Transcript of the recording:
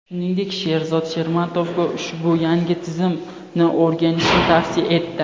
Shuningdek, Sherzod Shermatovga ushbu yangi tizimni o‘rganishni tavsiya etdi.